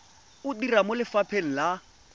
o dira mo lefapheng la